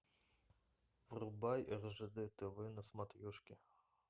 врубай ржд тв на смотрешке